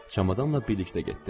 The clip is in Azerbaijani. Çamadanla birlikdə getdi.